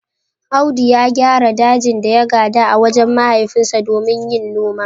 Audu ya gyara dajin da ya gada a wajen mahaifinsa domin yin noma.